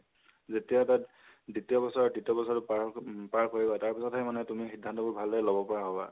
যেতিয়া তাত দ্বিতিয় বছৰ, তিতিয় বছৰ পাৰ উম পাৰ কৰিবা, তাৰপিছহে তুমি সিধান্ত বোৰ ভালদৰে লব পাৰা হবা